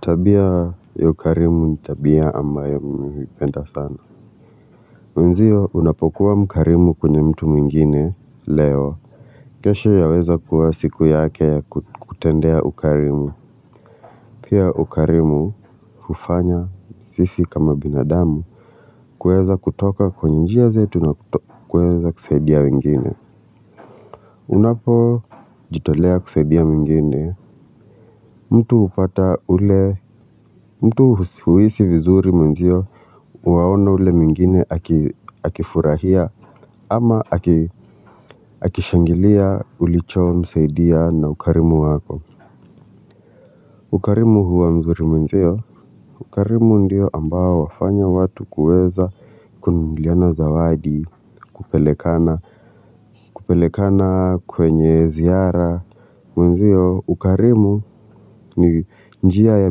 Tabia ya ukarimu ni tabia ambayo mipenda sana. Mwenzio unapokuwa mkarimu kwenye mtu mwingine leo kesho yaweza kuwa siku yake ya kutendea ukarimu. Pia ukarimu ufanya sisi kama binadamu. Kueza kutoka kwenye njia zetu na kueza kusaidia wengine. Unapojitolea kusaidia mwingine. Mtu hupata ule mtu huisi vizuri mwenzio. Uwaona ule mwingine akifurahia ama akishangilia ulichomsaidia na ukarimu wako. Ukarimu huwa mzuri mwenzio. Ukarimu ndio ambao wafanya watu kueza kunuliana zawadi kupelekana kwenye ziara. Mwenzio ukarimu ni njia ya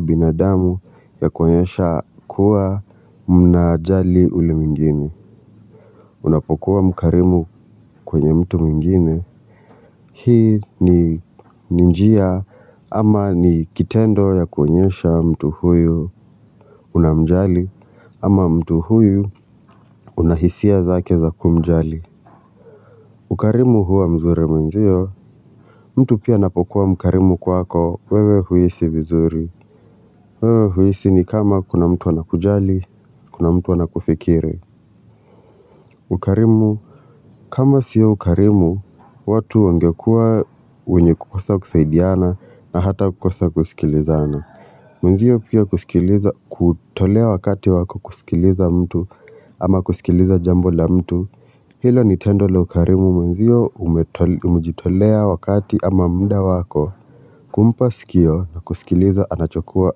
binadamu ya kuenyesha kuwa mnajali ule mwingine. Unapokuwa mkarimu kwenye mtu mwingine hii ni ni njia ama ni kitendo ya kuenyesha mtu huyo unamjali ama mtu huyo una hisia zake za kumjali ukarimu huwa mzure mwenzio. Mtu pia anapokuwa mkarimu kwako wewe huisi vizuri. Wewe huisi ni kama kuna mtu wanakujali kuna mtu anakufikire ukarimu. Kama siyo ukarimu, watu wangekua wenye kukosa kusaidiana na hata kukosa kusikilizana. Mwenzio pia kutolea wakati wako kusikiliza mtu ama kusikiliza jambo la mtu. Hilo ni tendo le ukarimu mwenzio umejitolea wakati ama mda wako. Kumpa sikio na kusikiliza anachokua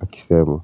akisema.